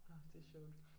Åh det sjovt